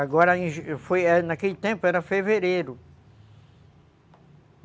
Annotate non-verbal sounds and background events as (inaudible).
Agora, (unintelligible) naquele tempo, era fevereiro.